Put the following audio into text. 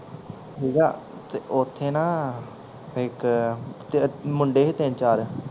ਠੀਕ ਆ ਤੇ ਓਥੇ ਨਾ ਇੱਕ ਮੁੰਡੇ ਸੀ ਤਿਨ ਚਾਰ